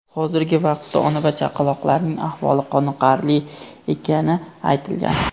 Hozirgi vaqtda ona va chaqaloqlarning ahvoli qoniqarli ekani aytilgan.